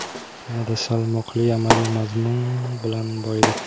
yanada salmoqli amaliy mazmun bilan boyidi.